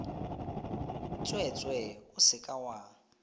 tsweetswee o se ka wa